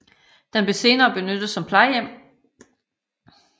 Den blev senere benyttet som plejehjem